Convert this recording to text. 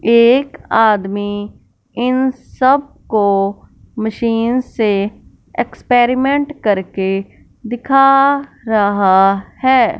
एक आदमी इन सबको मशीन से एक्सपेरिमेंट करके दिखा रहा है।